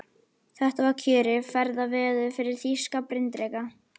Þetta var kjörið ferðaveður fyrir þýska bryndreka.